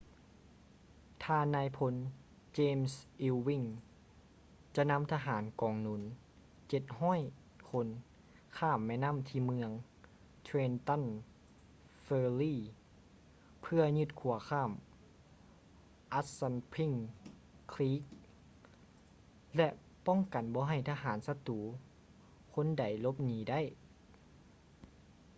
ທ່ານນາຍພົນ ເຈມສ໌ ອີວວິ້ງ james ewing ຈະນຳທະຫານກອງໜູນ 700 ຄົນ ຂ້າມແມ່ນໍ້າທີ່ເມືອງ ເທຼນຕັນ ເຟີຣີ່ trenton ferry ເພື່ອຢຶດຂົວຂ້າມ ອັດສັນພິ້ງ ຄຼີກ assunpink creek ແລະ ປ້ອງກັນບໍ່ໃຫ້ທະຫານສັດຕູຄົນໃດຫຼົບໜີໄດ້